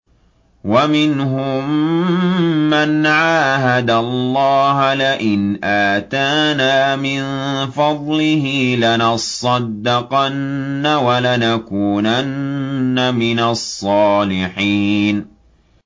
۞ وَمِنْهُم مَّنْ عَاهَدَ اللَّهَ لَئِنْ آتَانَا مِن فَضْلِهِ لَنَصَّدَّقَنَّ وَلَنَكُونَنَّ مِنَ الصَّالِحِينَ